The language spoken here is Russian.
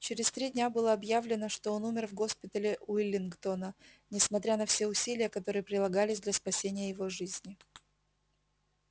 через три дня было объявлено что он умер в госпитале уиллингдона несмотря на все усилия которые прилагались для спасения его жизни